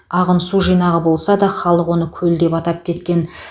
ағын су жинағы болса да халық оны көл деп атап кеткен